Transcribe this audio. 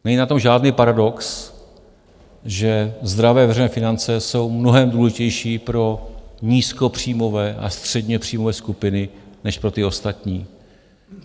Není na tom žádný paradox, že zdravé veřejné finance jsou mnohem důležitější pro nízkopříjmové a středně příjmové skupiny než pro ty ostatní.